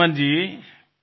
Ripudaman ji